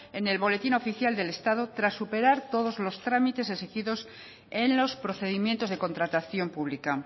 en el boletín oficial del estado tras superar todos los trámites exigidos en los procedimientos de contratación pública